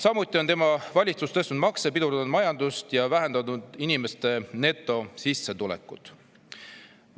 Samuti on tema valitsus tõstnud makse, pidurdanud majandust ja vähendanud inimeste netosissetulekut.